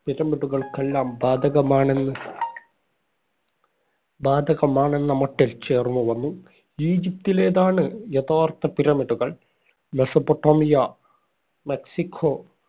പിരമിഡുകൾക്കെല്ലാ ബാധകമാണെന്ന ബാധകമാണെന്ന മട്ടിൽ ചേർന്നു വന്നു. ഈജിപ്റ്റിലേതാണ് യഥാർഥ pyramid കള്‍. Mesopotamia, Mexico,